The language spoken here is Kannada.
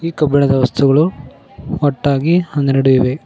ಕಬ್ಬಿಣದ ವಸ್ತುಗಳು ಒಟ್ಟಾಗಿ ಹನ್ನೆರಡು ಇವೆ.